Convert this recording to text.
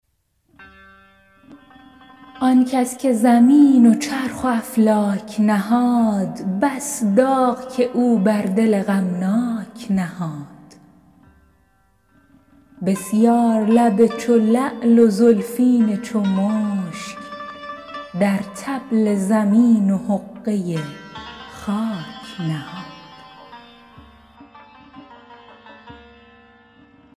آن کس که زمین و چرخ و افلاک نهاد بس داغ که او بر دل غمناک نهاد بسیار لب چو لعل و زلفین چو مشک در طبل زمین و حقه خاک نهاد